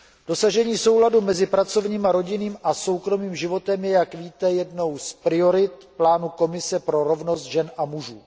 Dosažení souladu mezi pracovním, rodinným a soukromým životem je, jak víte, jednou z priorit plánu Komise pro rovnost žen a mužů.